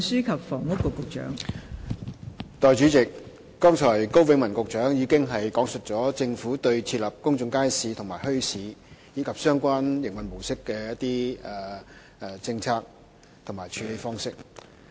代理主席，高永文局長剛才已講述了政府對設立公眾街市和墟市，以及相關營運模式的政策和處理方式。